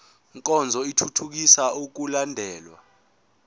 nkonzo ithuthukisa ukulandelwa